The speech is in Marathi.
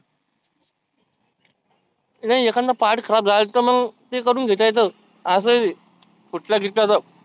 नाही एखादा part खराब झाला तर मग ते करुण घेता येतं असं आहे ते. फुटला गिटला तर